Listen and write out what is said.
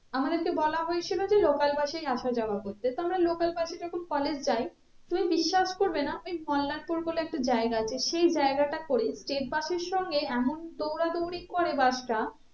আমাদেরকে বলা হয়েছিল যে local bus এই আসা যাওয়া করতে তো আমরা local bus এ যখন college যাই তুমি বিশ্বাস করবে না বলে একটা জায়গা আছে সেই জায়গাটা করে state bus এর সঙ্গে এমন দৌড়া দৌড়ি করে bus টা